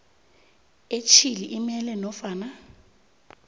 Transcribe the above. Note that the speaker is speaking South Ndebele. etjhili umele nofana